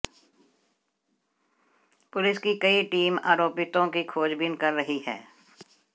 police की कई team आरोपितों की खोजबीन कर रही हैं